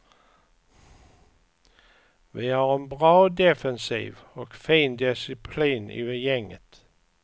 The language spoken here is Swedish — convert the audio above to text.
Vi har en bra defensiv och fin disciplin i gänget.